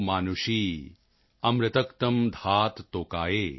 ਯੂਯੰ ਹਿਸ਼ਠਾ ਭਿਸ਼ਜੋ ਮਾਤ੍ਰਤਮਾ ਵਿਸ਼ਵਸਯ ਸਥਾਤੁ ਜਗਤੋ ਜਨਿਤ੍ਰੀ॥